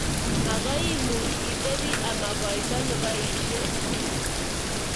Makoi imuch itebi ama koito neboishei.